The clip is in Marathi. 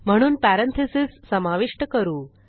म्हणून पॅरेंथीसेस समाविष्ट करू